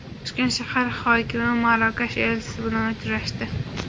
Toshkent shahar hokimi Marokash elchisi bilan uchrashdi.